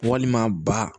Walima ba